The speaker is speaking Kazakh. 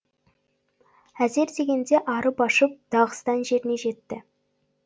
әзер дегенде арып ашып дағыстан жеріне жетті